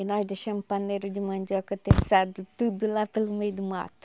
E nós deixamos o paneiro de mandioca teçado, tudo lá pelo meio do mato.